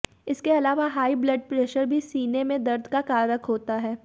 इसके अलावा high blood pressure भी सीने में दर्द का कारक होता है